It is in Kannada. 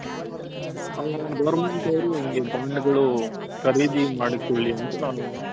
Government ಅವ್ರು ಕರಿದಿ ಮಾಡಿಕೊಳ್ಳಿ ಅಂತ